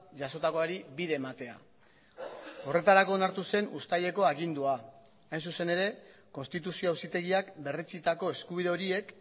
jasotakoari bide ematea horretarako onartu zen uztaileko agindua hain zuzen ere konstituzio auzitegiak berretsitako eskubide horiek